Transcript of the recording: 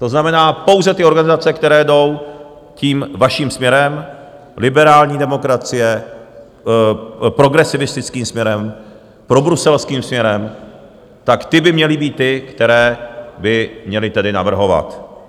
To znamená pouze ty organizace, které jdou tím vaším směrem, liberální demokracie, progresivistickým směrem, probruselským směrem, tak ty by měly být ty, které by měly tedy navrhovat.